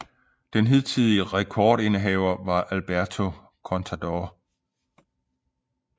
Den hidtidige rekord indehaver var Alberto Contador